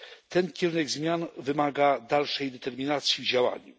Ten kierunek zmian wymaga dalszej determinacji w działaniu.